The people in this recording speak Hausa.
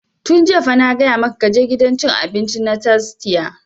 Tun jiya fa na gaya maka ka je gidan cin abinci na tastia!